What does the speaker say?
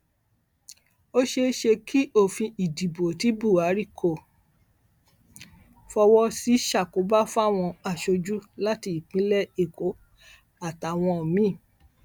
ó ṣeé ṣe kí òfin ìdìbò ti buhari kó fọwọ sí ṣàkóbá fáwọn aṣojú láti ìpínlẹ èkó àtàwọn mi